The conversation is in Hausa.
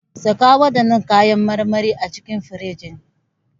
Saka waɗannan kayan marmarin a cikin firinji.